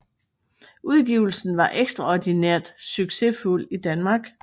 Udgivelsen var ekstraordinært succesfuld i Danmark